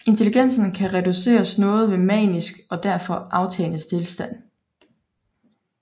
Intelligensen kan reduceres noget ved maniske og derfra aftagende tilstand